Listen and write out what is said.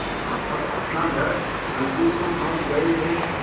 तब अपना घर अलगू को सौंप गये थे